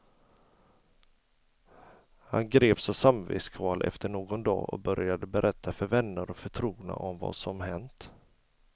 Han greps av samvetskval efter någon dag och började berätta för vänner och förtrogna om vad som hänt.